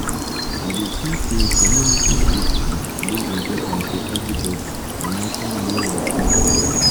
i dey think say community safety dey important for everybody no matter where you come from.